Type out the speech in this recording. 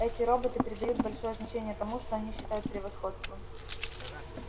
эти роботы придают большое значение тому что они считают превосходством